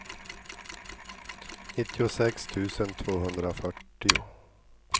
nittiosex tusen tvåhundrafyrtio